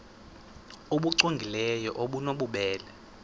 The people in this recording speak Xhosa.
nbu cwengileyo obunobubele